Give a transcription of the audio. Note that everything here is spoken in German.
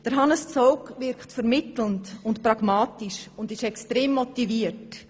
Er wirkt vermittelnd und pragmatisch und ist extrem motiviert.